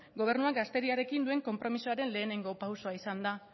gobernuak gazteriarekin duen konpromisoaren lehenengo pausua izan da